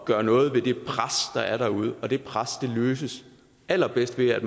gøre noget ved det pres der er derude og det pres lettes allerbedst ved at